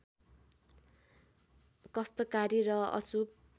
कष्टकारी र अशुभ